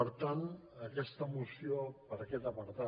per tant aquesta moció per aquest apartat